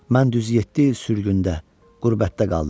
Mən düz yeddi il sürgündə, qürbətdə qaldım.